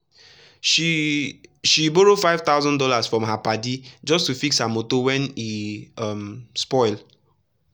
she she borrow five thousand dollars from her padi just to fix her motor when e um spoil.